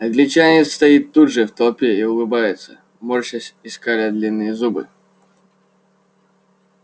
англичанин стоит тут же в толпе и улыбается морщась и скаля длинные зубы